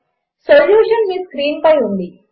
solution మీ screen పై ఉంది